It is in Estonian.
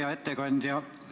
Hea ettekandja!